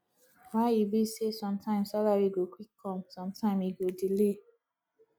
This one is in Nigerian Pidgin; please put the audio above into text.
why e be sey sometimes salary go quick come sometime e go delay